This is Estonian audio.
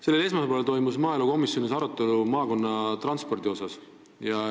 Sellel esmaspäeval toimus maaelukomisjonis arutelu maakonnatranspordi üle.